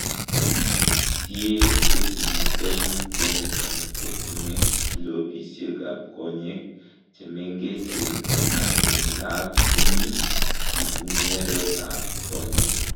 Tie chetinye koimutioniton kotinye kilopisiekab konyek chemengechen ak en lak komi ipungweretab konyek.